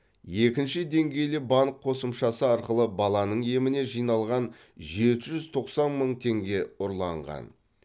екінші деңгейлі банк қосымшасы арқылы баланың еміне жиналған жеті жүз тоқсан мың теңге ұрланған